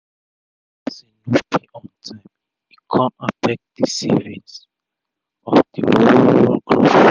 pipu wey dey work for dia sef sef dey to manage dia moni as customer no dey quick pay